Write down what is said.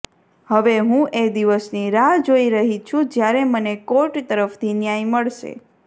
હવે હું એ દિવસની રાહ જોઈ રહી છું જ્યારે મને કોર્ટ તરફથી ન્યાય મળશે